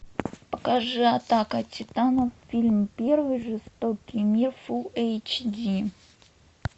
покажи атака титанов фильм первый жестокий мир фул эйч ди